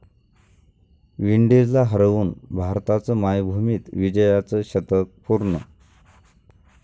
विंडीजला हरवून भारताचं मायभूमीत विजयाचं 'शतक' पूर्ण